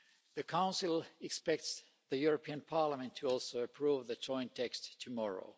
The Council expects the European Parliament to also approve the joint text tomorrow.